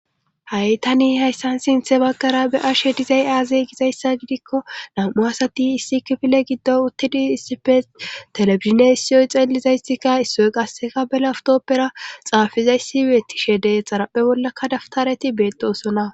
Hai tani hayssan sinthe baggara be ashe dizay aazey gizayssa gidikko nam'u asati issi kifile giddo uttidi issife telefizinessiyoy xeellizayssikka issoy qasseka bela awtoppera xaafizaysi weeti shede xaraphe bollakka daftareti beetosona.